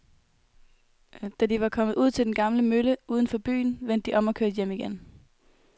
Da de var kommet ud til den gamle mølle uden for byen, vendte de om og kørte hjem igen.